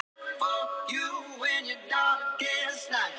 En hann hafði vaknað heldur seint og nú sæjust þau aldrei framar.